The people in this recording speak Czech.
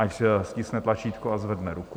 Ať stiskne tlačítko a zvedne ruku.